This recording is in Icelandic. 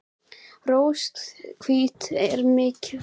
Rorí, stilltu niðurteljara á sjötíu og þrjár mínútur.